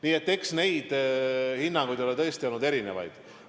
Nii et eks neid hinnanguid ole tõesti olnud erinevaid.